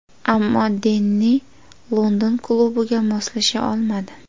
Ammo Denni London klubiga moslasha olmadi.